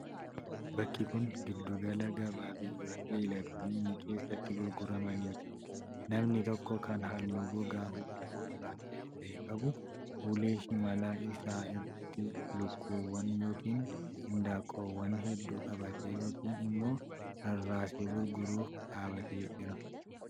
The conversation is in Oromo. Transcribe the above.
Bakki kun, giddu gala gabaa beeyiladoonni keessatti gurguramanii dha. Namni tokko kan haalluu gogaa fuulaa gurraacha ta'e qabu, ulee shimala isaa irratti lukkuuwwan yookin indaaqqoowwan hedduu qabatee yookin immoo rarraasee gurguruuf dhaabatee jira.